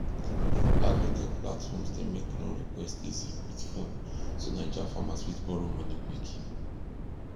agritech platforms dey make loan request easy with phone so naija farmers fit borrow money quick